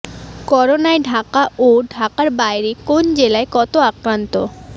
করোনায় ঢাকা ও ঢাকার বাইরের কোন জেলায় কত আক্রান্ত